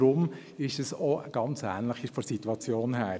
Deshalb ist es von der Situation her ganz ähnlich.